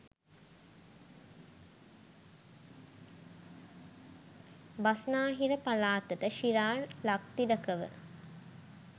බස්නාහිර පළාතට ශිරාල් ලක්තිලකව